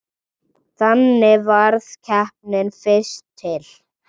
Þannig varð keppnin fyrst til.